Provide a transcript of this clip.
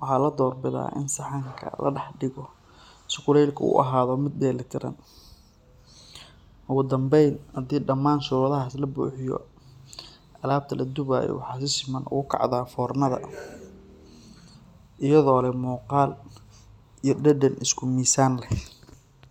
waxa la doorbidaa in saxanka la dhex dhigo si kulaylku u ahaado mid dheelitiran. Ugu dambayn, haddii dhammaan shuruudahaas la buuxiyo, alabta la dubayo waxay si siman ugu kacdaa fornada iyadoo leh muuqaal iyo dhadhan isku miisaan ah.